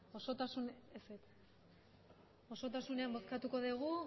osotasunean bozkatuko dugu